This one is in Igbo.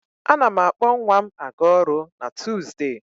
A na m akpọ nwa m a ga-ọrụ na Tuuzdee.